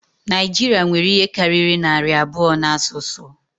Naịjirịa nwere ihe karịrị narị abụọ na asụsụ